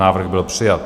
Návrh byl přijat.